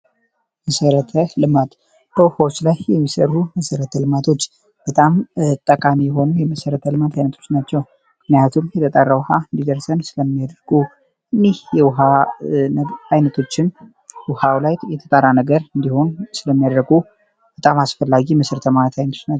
መሰረተ ልማት በውሃዎች ላይ የሚሰሩ መሰረተ ልማቶች በጣም ጠቃኔ የሆኑ የመሰረተ ልማት ዓይነቶች ናቸው ።ምክንያቱም የተጣራ ውሃ እንዲደርሰን ስለሚያደረጉ እህ የውሃ አይነቶችን ውሃው ላይ የተጣራ ነገር እንዲሆን ስለሚያድረጉ በጣም አስፈላጊ መሠረት ልማት ዓይነት ናቸው።